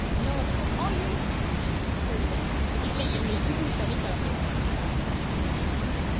no no ஐயோ இல்லை இல்லை சனிக்கிழமைதான்